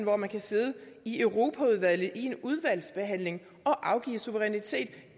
hvor man kan sidde i europaudvalget og under en udvalgsbehandling afgive suverænitet